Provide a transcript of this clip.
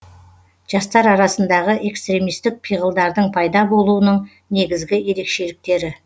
жастар арасындағы экстремистік пиғылдардың пайда болуының негізгі ерекшеліктері